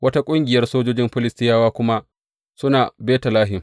Wata ƙungiyar sojojin Filistiyawa kuma suna Betlehem.